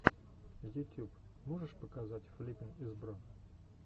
ютюб можешь показать флиппин из бро